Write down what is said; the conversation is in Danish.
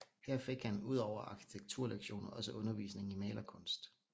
Her fik han ud over arkitekturlektioner også undervisning i malerkunst